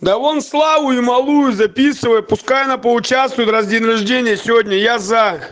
да вон славу и малую записывай пускай она поучаствуют раз день рождения сегодня я за